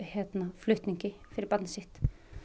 flutningi fyrir barnið sitt